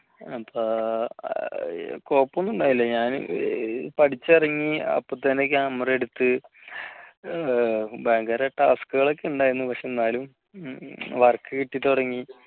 അപ്പൊ കുഴപ്പമൊന്നും ഉണ്ടായില്ല ഞാൻ പഠിച്ച ഇറങ്ങി അപ്പത്തന്നെ camera എടുത്തു ഭയങ്കര task കൾ ഒക്കെ ഉണ്ടായിരുന്നു പക്ഷേ എന്നാലും work കിട്ടി തുടങ്ങി.